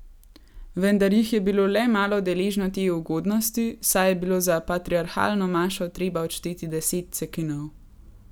Vendar jih je bilo le malo deležno te ugodnosti, saj je bilo za patriarhalno mašo treba odšteti deset cekinov.